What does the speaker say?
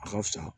A ka fisa